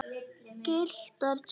Gylltar tölur.